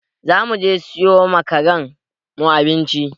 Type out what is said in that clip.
Za mu je siyo ma karen mu abinci.